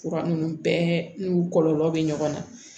Fura ninnu bɛɛ n'u kɔlɔlɔ bɛ ɲɔgɔn na